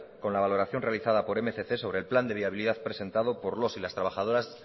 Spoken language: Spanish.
con la valoración realizada por mil doscientos sobre el plan de viabilidad presentado por los y las trabajadoras